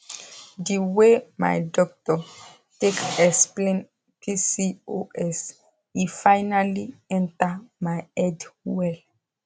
the way my doctor take explain pcos e finally enter my head well